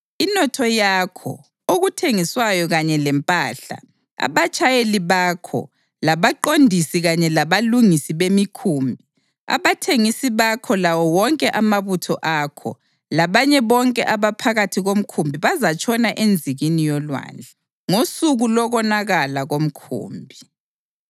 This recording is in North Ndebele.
Inotho yakho, okuthengiswayo kanye lempahla, abatshayeli bakho, labaqondisi kanye labalungisi bemikhumbi, abathengisi bakho lawo wonke amabutho akho, labanye bonke abaphakathi komkhumbi bazatshona enzikini yolwandle ngosuku lokonakala komkhumbi.